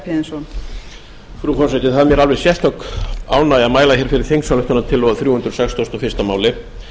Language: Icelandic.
frú forseti það er mér alveg sérstök ánægja að mæla hér fyrir þingsályktunartillögu um þrjú hundruð sextíu og eitt mál